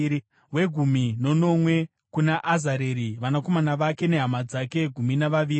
wegumi nomumwe kuna Azareri, vanakomana vake nehama dzake—gumi navaviri;